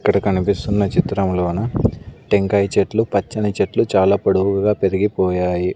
ఇక్కడ కనిపిస్తున్న చిత్రములోను టెంకాయ చెట్లు పచ్చని చెట్లు చాలా పొడవుగా పెరిగిపోయాయి.